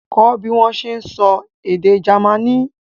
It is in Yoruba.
Kọ́ bí wọ́n ṣe ń sọ èdè Jamaní!